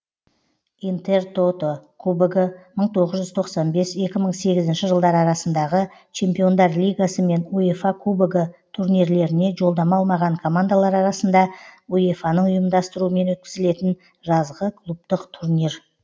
интертото кубогы мың тоғыз жүз тоқсан бес екі мың сегізінші жылдар арасындағы чемпиондар лигасы мен уефа кубогы турнирлеріне жолдама алмаған командалар арасында уефаның ұйымдастыруымен өткізілетін жазғы клубтық турнир